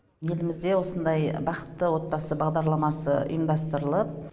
елімізде осындай бақытты отбасы бағдарламасы ұйымдастырылып